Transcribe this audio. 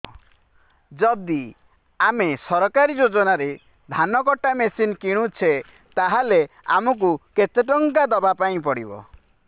ଯଦି ଆମେ ସରକାରୀ ଯୋଜନାରେ ଧାନ କଟା ମେସିନ୍ କିଣୁଛେ ତାହାଲେ ଆମକୁ କେତେ ଟଙ୍କା ଦବାପାଇଁ ପଡିବ